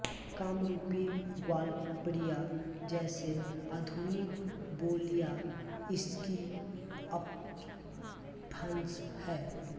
कामरूपी ग्वालपरिया जैसे आधुनिक बोलियाँ इसकी अपभ्रंश हैं